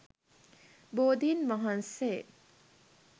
බෝධින් වහන්සේ